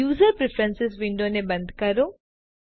user preferences window ને બંધ કરો